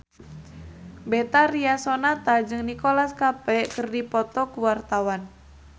Betharia Sonata jeung Nicholas Cafe keur dipoto ku wartawan